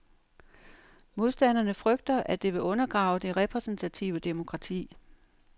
Modstanderne frygter, at det vil undergrave det repræsentative demokrati.